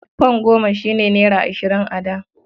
Fam goma shi ne naira ashirin a da.